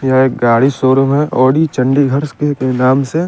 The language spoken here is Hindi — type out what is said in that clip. यहाँ एक गाड़ी शोरूम है औडी चंडीगढ़स के इनाम से--